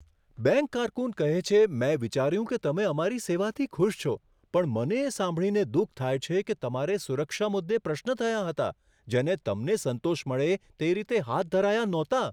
Bank કારકુન કહે છે, મેં વિચાર્યું કે તમે અમારી સેવાથી ખુશ છો. પણ મને એ સાંભળીને દુઃખ થાય છે કે તમારે સુરક્ષા મુદ્દે પ્રશ્નો થયા હતા જેને તમને સંતોષ મળે તે રીતે હાથ ધરાયા નહોતાં.